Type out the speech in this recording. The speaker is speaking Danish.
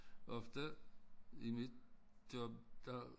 Ofte i mit job der